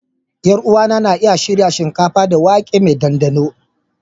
Yaruwa na ya iya shirya shinkafa da wake mai danɗano.